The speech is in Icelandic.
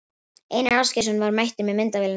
Einar Ásgeirsson var mættur með myndavélina.